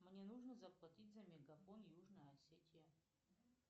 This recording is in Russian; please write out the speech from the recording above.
мне нужно заплатить за мегафон южная осетия